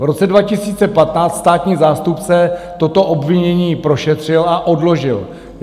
V roce 2015 státní zástupce toto obvinění prošetřil a odložil.